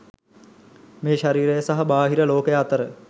මේ ශරීරය සහ බාහිර ලෝකය අතර